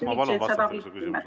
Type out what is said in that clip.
Ma palun teil vastata küsimusele.